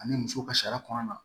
Ani muso ka sariya kɔnɔna